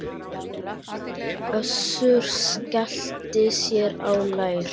Össur skellti sér á lær.